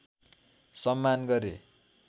सम्मान गरे